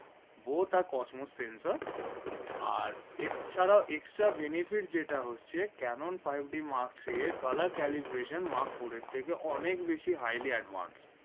both or Cosmos sensor R F ছাড়াও extra benefit যে টা হচ্ছে cannon five d mark three এর colour calibration mark four এর থেকে অনেক বেশি highly advanced